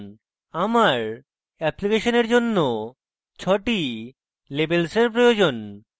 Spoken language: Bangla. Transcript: আমার অ্যাপ্লিকেশন জন্য 6 টি labels we প্রয়োজন